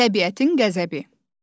Təbiətin qəzəbi.